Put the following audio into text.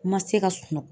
Ma se ka sunɔgɔ